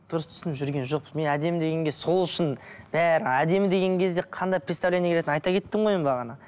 дұрыс түсініп жүрген жоқпыз мен әдемі дегенге сол үшін бәрі әдемі деген кезде қандай представление айта кеттім ғой мен бағана